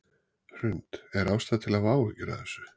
Hrund: Er ástæða til að hafa áhyggjur af þessu?